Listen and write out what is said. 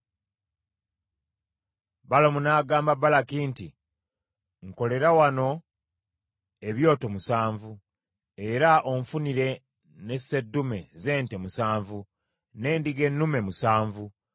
Balamu n’agamba Balaki nti, “Nkolera wano ebyoto musanvu, era onfunire ne sseddume z’ente musanvu, n’endiga ennume musanvu.”